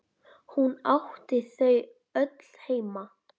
Hún átti þau öll heima.